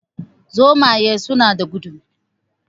Zomaye suna da gudu